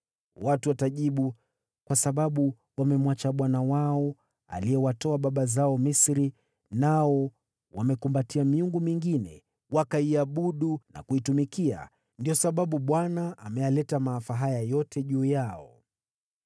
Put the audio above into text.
Watu watajibu, ‘Kwa sababu wamemwacha Bwana Mungu wao, aliyewatoa baba zao Misri, nao wamekumbatia miungu mingine, wakaiabudu na kuitumikia, ndiyo sababu Bwana ameyaleta maafa haya yote juu yao.’ ”